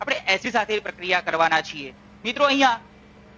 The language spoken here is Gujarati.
આપણે એસિડ સાથે એ પ્રક્રિયા કરવાના છીએ. મિત્રો અહિયાં